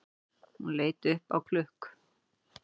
Hún leit upp á klukk